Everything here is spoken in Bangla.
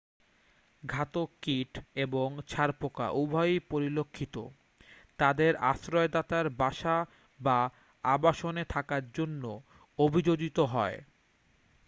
ঘাতক-কীট এবং ছারপোকা উভয়ই পরিলক্ষিত তাদের আশ্রয়দাতার বাসা বা আবাসনে থাকার জন্য অভিযোজিত হয়